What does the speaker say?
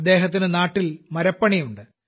അദ്ദേഹത്തിന് നാട്ടിൽ മരപ്പണിയുണ്ട്